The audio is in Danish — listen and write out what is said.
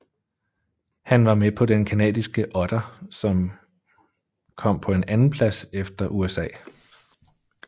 Han var med på den canadiske otter som kom på en andenplads efter USA